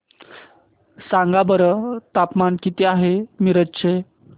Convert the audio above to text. सांगा बरं तापमान किती आहे मिरज चे